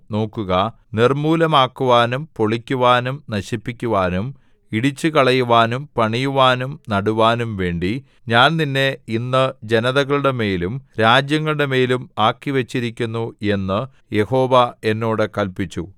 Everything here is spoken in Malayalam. നോക്കുക നിർമ്മൂലമാക്കുവാനും പൊളിക്കുവാനും നശിപ്പിക്കുവാനും ഇടിച്ചുകളയുവാനും പണിയുവാനും നടുവാനും വേണ്ടി ഞാൻ നിന്നെ ഇന്ന് ജനതകളുടെമേലും രാജ്യങ്ങളുടെമേലും ആക്കിവച്ചിരിക്കുന്നു എന്ന് യഹോവ എന്നോട് കല്പിച്ചു